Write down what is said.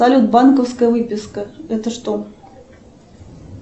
салют банковская выписка это что